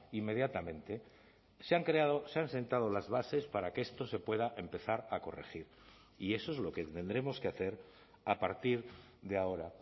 inmediatamente se han creado se han sentado las bases para que esto se pueda empezar a corregir y eso es lo que tendremos que hacer a partir de ahora